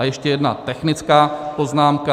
A ještě jedna technická poznámka.